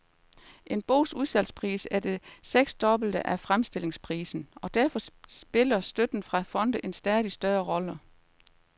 En bogs udsalgspris er det seksdobbelte af fremstillingsprisen, og derfor spiller støtten fra fonde en stadig større rolle.